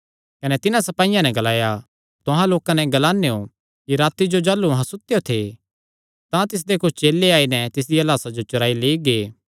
कने तिन्हां सपाईयां नैं ग्लाया तुहां लोकां नैं ग्लानेयों कि राती जो जाह़लू अहां सुतेयो थे तां तिसदे कुच्छ चेले आई नैं तिसदिया लाह्सा चुराई लेई गै